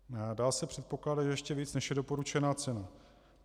Dá se předpokládat, že ještě více, než je doporučená cena.